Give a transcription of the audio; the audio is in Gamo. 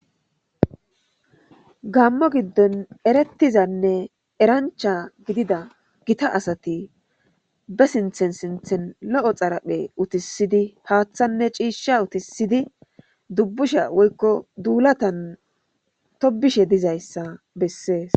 gammo giddon erettizanne erancha gidida gita asati be sinthen sinthen lo7o xaraphe utisidi paaththanne ciishsha utisidi dubbusha woykko duulatan tobishe dizayssa bessees